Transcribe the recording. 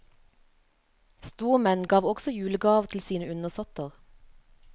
Stormenn gav også julegaver til sine undersåtter.